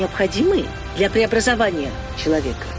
необходимые для преобразования человека